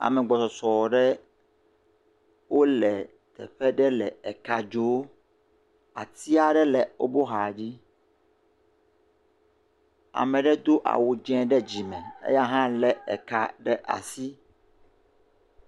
Ame gbɔsɔsɔ ɖe wole teƒe ɖe le eka dzoo, ati aɖe le woƒe axadzi, ame ɖe do awu dze ɖe dzime, eya hã lé eka ɖe asi.